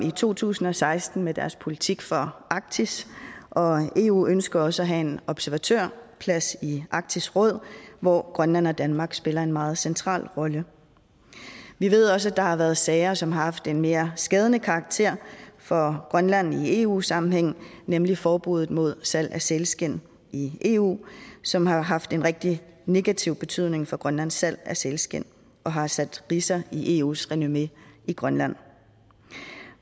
i to tusind og seksten kom med deres politik for arktis og eu ønsker også at have en observatørplads i arktisk råd hvor grønland og danmark spiller en meget central rolle vi ved også at der har været sager som har haft en mere skadelig karakter for grønland i eu sammenhæng nemlig forbuddet mod salg af sælskind i eu som har haft en rigtig negativ betydning for grønlands salg af sælskind og har sat ridser i eus renommé i grønland